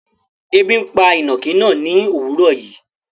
Ẹbi pa inákì náà ni owuró yìí